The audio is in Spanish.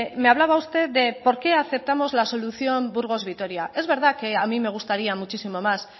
me hablaba usted de por qué aceptamos la solución burgos vitoria es verdad que a mí me gustaría muchísimo más